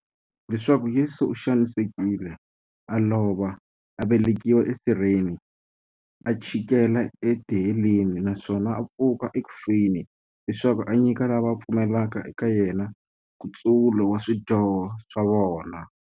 Leswaku Yesu u xanisekile, a lova, a vekiwa e sirheni, a chikela e tiheleni, naswona a pfuka eku feni, leswaku a nyika lava va pfumelaka eka yena, nkutsulo wa swidyoho swa vona.